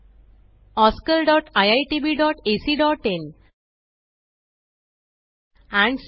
spoken tutorialorgnmeict intro